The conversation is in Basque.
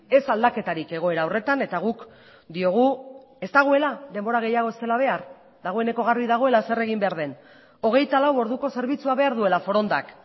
ez aldaketarik egoera horretan eta guk diogu ez dagoela denbora gehiago ez dela behar dagoeneko garbi dagoela zer egin behar den hogeita lau orduko zerbitzua behar duela forondak